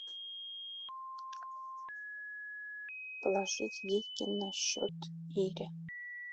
положить деньги на счет ире